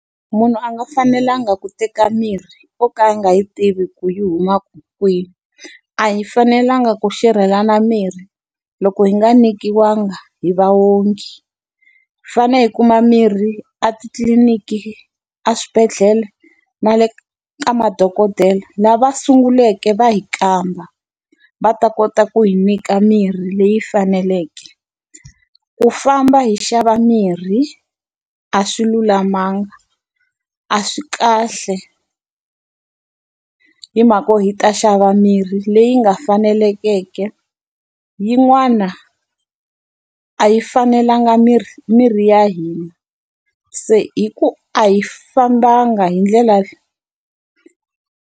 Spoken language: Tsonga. Munhu a nga fanelanga ku teka mirhi yo ka a nga yi tivi ku yi huma kwihi. A hi fanelanga ku xerhelana mirhi loko hi nga nyikiwangi hi vaongi. Hi fanele hi kuma mirhi a titliliniki, eswibedhlele na le ka madokodela lava va sunguleke va hi kamba va ta kota ku hi nyika mirhi leyi faneleke. Ku famba hi xava mirhi a swi lulamanga, a swi kahle, hi mhaka yo hi ta xava mirhi leyi nga fanelangeke. Yin'wana a yi fanelanga miri miri ya hina, se hi ku a hi fambanga hi ndlela leyi.